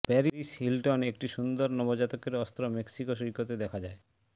Paris Hilton একটি সুন্দর নবজাতকের অস্ত্র মেক্সিকো সৈকতে দেখা যায়